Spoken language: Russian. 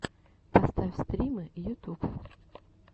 поставь стримы ютуб